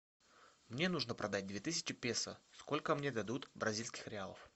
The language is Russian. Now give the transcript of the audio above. мне нужно продать две тысячи песо сколько мне дадут бразильских реалов